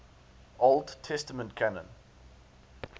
old testament canon